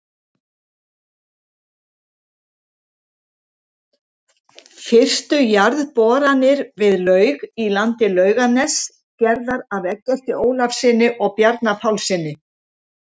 Fyrstu jarðboranir við laug í landi Laugarness, gerðar af Eggerti Ólafssyni og Bjarna Pálssyni.